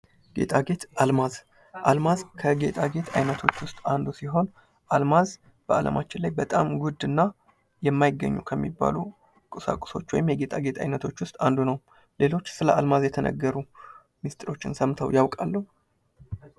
ጌጣጌጥ ፦ አልማዝ ፦ አልማዝ ከጌጣጌጥ አይነቶች ውስጥ አንዱ ሲሆን አልማዝ በአለማችን ላይ በጣም ውድ እና የማይገኙ ከሚባሉ ቁሳቁሶች ወይም የጌጣጌጥ ዓይነቶች ውስጥ አንዱ ነው ። ሌሎች ስለ አልማዝ የተነገሩ ሚስጥሮችን ሰምተው ያውቃሉ ?